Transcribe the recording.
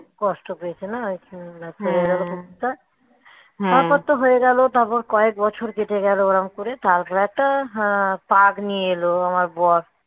কষ্ট পেয়েছে না এখানে না মরে গেল কুকুরটা তারপর তো হয়ে গেলো তারপর কয়েক বছর কেটে গেলো ওরকম করে তারপরে একটা পাফ নিয়ে এলো আমার বর